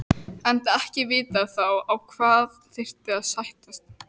Enda ekki vitað þá á hvað þyrfti að sættast.